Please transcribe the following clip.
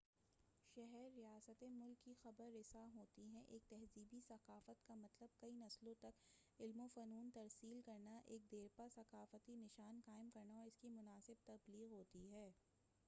شہر ریاستیں ملک کی خبر رساں ہوتی ہیں ایک تہذیبی ثقافت کا مطلب کئی نسلوں تک علوم وفنون ترسیل کرنا ایک دیرپا ثقافتی نشان قائم کرنا اور اسکی مناسب تبلیغ ہوتی ہے